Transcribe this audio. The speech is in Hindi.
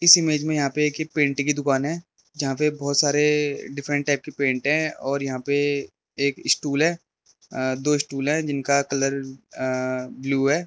इस इमेज में यहां पे पेंटिंग की दुकान है जहां पर बहुत सारे डिफरेंट टाइप के पेंट है और यहां पे एक स्टूल है दो स्टूल है जिनका कलर ब्लू है।